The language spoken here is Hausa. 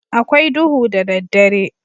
A kwai duhu da daddare.